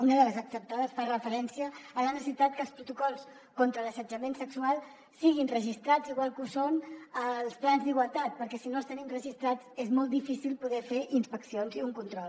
una de les acceptades fa referència a la necessitat que els protocols contra l’assetjament sexual siguin registrats igual que ho són els plans d’igualtat perquè si no els tenim registrats és molt difícil poder fer inspeccions i un control